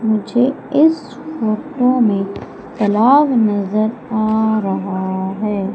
मुझे इस फोटो में तालाब नजर आ रहा है।